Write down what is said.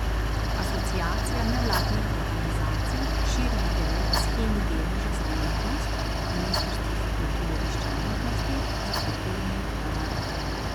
Asociacija nevladnih organizacij širi idejo o shemi deleža za umetnost, ministrstvo za kulturo išče možnosti za kulturni tolar.